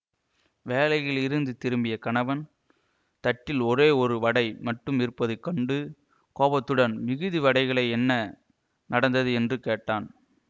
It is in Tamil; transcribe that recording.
வேலையில் இருந்து திரும்பிய கணவன் தட்டில் ஒரே ஒரு வடை மட்டும் இருப்பது கண்டு கோபத்துடன் மிகுது வடைகளை என்ன நடந்தது என்று கேட்டான்